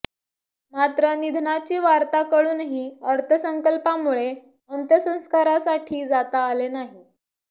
मात्र निधनाची वार्ता कळूनही अर्थसंकल्पामुळे अंत्यसंस्कारासाठी जाता आले नाही